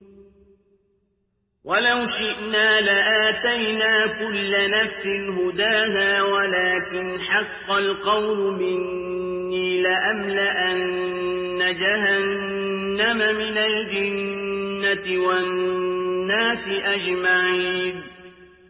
وَلَوْ شِئْنَا لَآتَيْنَا كُلَّ نَفْسٍ هُدَاهَا وَلَٰكِنْ حَقَّ الْقَوْلُ مِنِّي لَأَمْلَأَنَّ جَهَنَّمَ مِنَ الْجِنَّةِ وَالنَّاسِ أَجْمَعِينَ